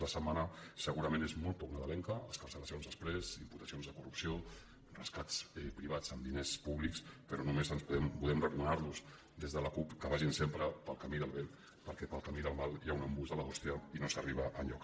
la setmana segurament és molt poc nadalenca excarceracions exprés imputacions de corrupció rescats privats amb diners públics però només podem recomanar los des de la cup que vagin sempre pel camí del bé perquè pel camí del mal hi ha un embús de l’hòstia i no s’arriba enlloc